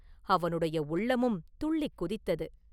அவனுடைய உள்ளமும் துள்ளிக் குதித்தது.